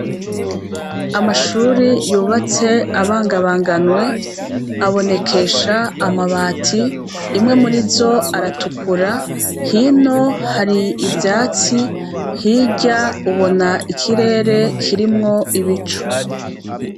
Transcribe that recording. Amashure yubatse abangabanganwe abonekesha amabati, imwe muri zo aratukura hino hari ivyatsi hirya ubona ikirere kirimwo ibicu.